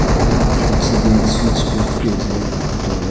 aru picche teh switchbox bhi ase etu darwaja--